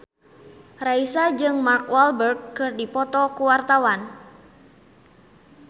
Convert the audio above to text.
Raisa jeung Mark Walberg keur dipoto ku wartawan